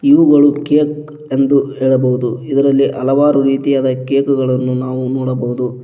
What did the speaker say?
ಇವುಗಳು ಕೇಕ್ ಎಂದು ಹೇಳಬಹುದು ಇದರಲ್ಲಿ ಹಲವಾರು ರೀತಿಯಾದ ಕೇಕ್ ಗಳನ್ನು ನಾವು ನೋಡಬೋದು.